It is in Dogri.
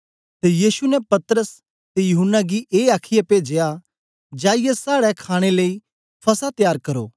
ते यीशु ने पतरस ते यूहन्ना गी ए आखीयै पेजया जाईयै साड़े खाणे लेई फसह त्यार करो